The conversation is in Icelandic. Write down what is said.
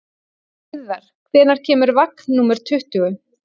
Urðar, hvenær kemur vagn númer tuttugu?